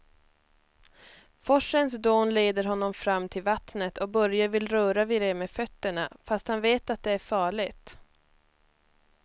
Forsens dån leder honom fram till vattnet och Börje vill röra vid det med fötterna, fast han vet att det är farligt.